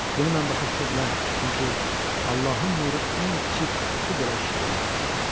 Bunu mən başa düşə bilərdim, çünki Allahın nuru ən kiçik otu belə işıqlandırır.